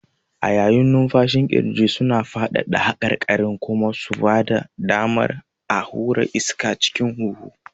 A yayin numfashin ƙirjin suna faɗaɗa haƙarƙarin kuma su ba da damar a hura iska cikin huhu.